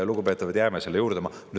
Lugupeetavad, jääme selle juurde!